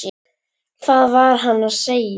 Hvað var hann að segja?